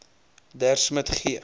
der smit g